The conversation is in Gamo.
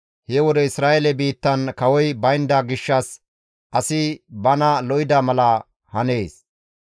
He wode Isra7eele biittan kawoy baynda gishshas asi bana lo7ida mala hanees.